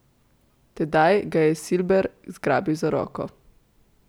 Tedaj ga je Silber zgrabil za roko.